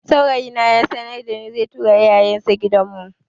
Saurayi na ya sanarda ni zai tura iyayen sa gidan mu